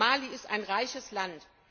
Mali ist ein reiches Land.